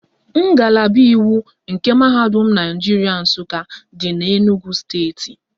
Ngalaba iwu nke Mahadum Naijiria Nsụka dị n'Enugwu steeti